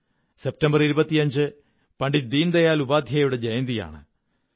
25 September Pandit Deendayal ഉപാദ്ധ്യായയുടെ ജയന്തിയാണ്